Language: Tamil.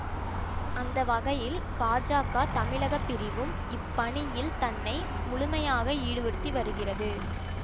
அந்த வகையில் பாஜக தமிழக பிரிவும் இப்பணியில் தன்னை முழுமையாக ஈடுபடுத்தி வருகிறது